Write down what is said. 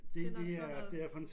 Det nok sådan noget